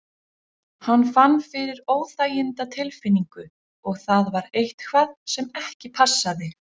Hann fann fyrir óþægindatilfinningu og það var eitthvað sem ekki passaði.